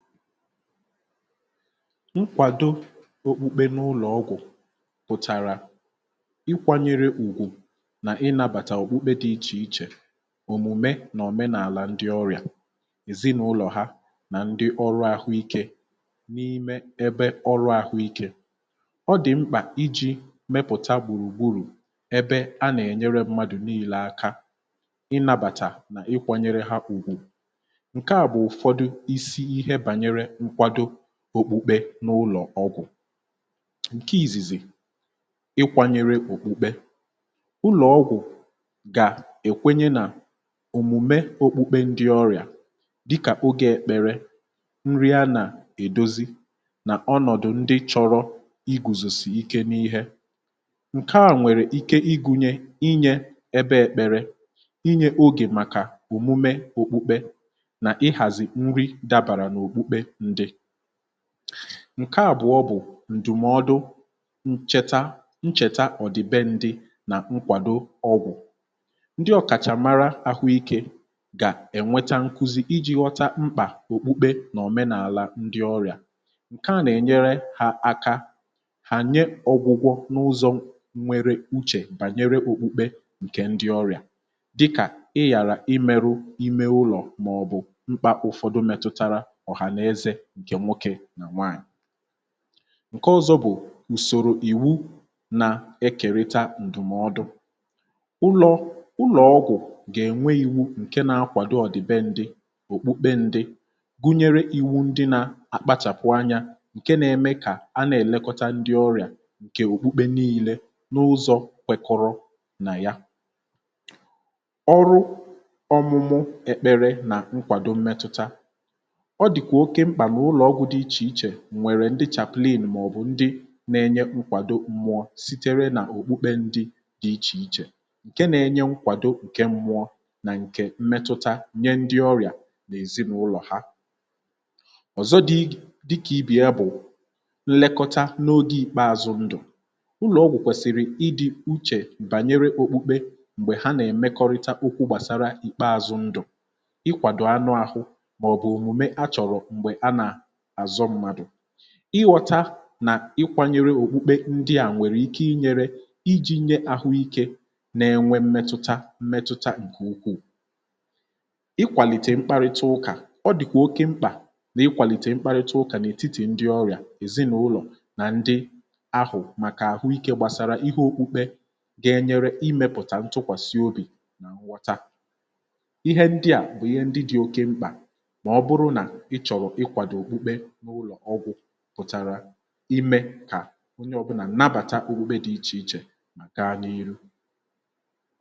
Nkwàdo okpukpe n’ụlọ̀ ọgwụ̀ pụ̀tàrà ị kwanyere ùgwù nà ị nabàtà okpukpe di ichè ichè òmùme nà òmenàlà ndị ọrịà, èzinàụlọ̀ ha nà ndị ọrụ àhụ ikė n’ime ebe ọrụ àhụ ikė, ọ dì mkpà iji̇ mepụ̀ta gbùrùgburù ebe a nà-ènyere mmadù niilė aka ị nabàtà nà ị kwanyere ha ùgwù. Nke bú ụfọdụ isi ihe banyere nkwado òkpukpe n’ụlọ̀ ọgwụ̀, ǹke ìzìzi ịkwanyere òkpukpe, ụlọ̀ ọgwụ̀ gà-èkwenye nà-òmùme òkpukpe ndị ọrịà dịkà ogė ekpere, nri a nà-èdozi nà ọnọ̀dụ̀ ndị chọrọ igù zùsì ike n’ihė ǹke a nwèrè ike igunye inyė ebe èkpere, inyė ogè màkà òmume òkpukpe nà-ịhàzị̀ nri dàbàrà n’òkpukpe ndị. Ǹke àbụọ bụ̀ ǹdụmọdụ ncheta ncheta ọ̀dị be ndị nà nkwàdo ọgwụ̀, ndị ọ̀kàchàmara ahụ ikė gà-ènweta nkụzi iji̇ ghọta mkpà òkpukpe nà òmenàla ndị ọrịà ǹke à nà-ènyere ha aka hànye ọgwụgwọ n’ụzọ̇ nwere uchè bànyere òkpukpe ǹkè ndị ọrịà dịkà ịghàrà i meru ime ụlọ̀ màọ̀bụ̀ mkpà ụfọdụ metụtara ohaneze ǹke nwoke na nwanyị. Ǹke ọzọ bụ̀ ùsòrò ìwu nà-ekèrita ǹdùmọdụ̀, ụlọ̀ ụlọ̀ ọgwụ̀ gà-ènwe iwu ǹke na-akwàdo ọ̀dìbe ndị òkpukpe ndị gụnyere iwu ndị nà-akpachàpụ anyȧ ǹke nȧ-ėmė kà anà-èlekọta ndị ọrịà ǹkè òkpukpe nii̇lė n’ụzọ̇ kwekọrọ nà ya. Ọrụ ọ̀mụmụ ekpere nà nkwàdo mmetụta, ọdikwa oke mkpa n'ụlọ̀ ọgwụ̀ dị ichè ichè nwèrè ndị chaplain màọ̀bụ̀ ndị na-enye nkwàdo mmụọ sitere nà-òkpukpe ndị dị̇ ichè ichè, ǹke na-enye nkwàdo ǹke mmụọ nà ǹkè mmetụta nye ndị ọrị̀à n’èzinaụlọ̀ ha. Ọ̀zọ dị igè dịkà ibè ya bụ̀ nlekọta n’ogė ikpeazụ ndụ̀, ụlọ̀ ọgwụ̀ kwèsị̀rị̀ ịdị uchè bànyere okpukpe m̀gbè ha nà-èmekọrịta okwụ gbàsara ìkpeazụ ndụ̀, ịkwàdọ anụ ahụ maòbù omume ha chọrọ mgbe a na-azọ mmadụ, ịghọ̇ta nà ịkwȧnyėrė òkpukpe ndị à nwèrè ike inyėrė iji̇nye àhụ ikė n’enwe mmetụta mmetụta ǹkè ụkwụ. Ìkwàlìtè mkparịta ụkà ọ dị̀kwà oke mkpà n’ịkwàlìtè mkparịta ụkà n’ètitì ndị ọrị̀à èzinàụlọ̀ nà ndị ahụ̀ màkà àhụ ikė gbàsara ihe okpukpe ga-enyere imėpụ̀tà ntụkwàsị obì nà ǹghọta, ihe ndị à bụ̀ ihe ndị dị̀ oke mkpà ma ọ bụrụ na-ịchoro ịkwàdọ okpukpe n'ụlọ ọgwụ pụtara ime kà onye ọ̀bụnà nnabàta okpukpe dị ichè ichè mà gaa n’ihu.